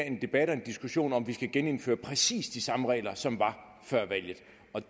en debat og en diskussion om hvorvidt vi skal genindføre præcis de samme regler som var før valget